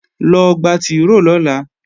Lọ gba tìróò lọ́la!